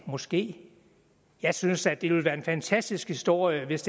måske jeg synes da at det ville være en fantastisk historie hvis